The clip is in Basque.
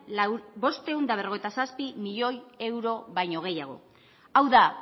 bostehun eta berrogeita zazpi milioi euro baino gehiago hau da